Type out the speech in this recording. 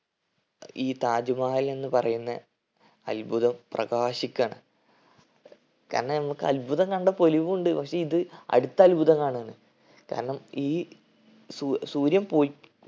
ഈ താജ് മഹൽ എന്ന് പറയുന്ന അത്ഭുതം പ്രകാശിക്കാണ്. കാരണം നമ്മക്ക് അത്ഭുതം കണ്ട പൊലിവുണ്ട്. പക്ഷെ ഇത് അടുത്ത അത്ഭുതം കാണുവാണ്. കാരണം ഈ സൂ സൂര്യൻ പോയി